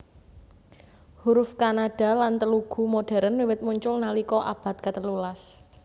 Huruf Kannada lan Telugu modhèrn wiwit muncul nalika abad katelu las